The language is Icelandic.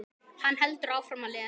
Hann heldur áfram að lesa